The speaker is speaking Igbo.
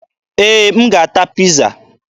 Ee, m ga-ata Piiza.